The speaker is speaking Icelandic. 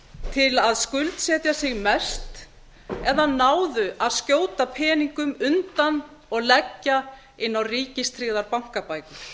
til að skuldsetja sig mest eða náðu að skjóta peningum undan og leggja inn á ríkistryggðar bankabækur